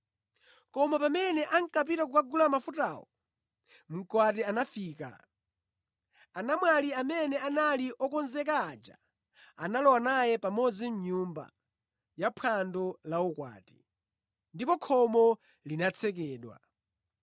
“Koma pamene ankapita kukagula mafutawo, mkwati anafika. Anamwali amene anali okonzeka aja analowa naye pamodzi mʼnyumba ya phwando la ukwati. Ndipo khomo linatsekedwa.